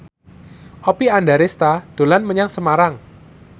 Oppie Andaresta dolan menyang Semarang